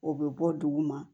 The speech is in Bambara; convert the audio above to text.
O bɛ bɔ duguma